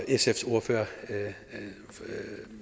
sfs ordfører